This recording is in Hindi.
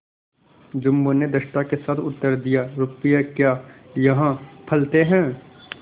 जुम्मन ने धृष्टता के साथ उत्तर दियारुपये क्या यहाँ फलते हैं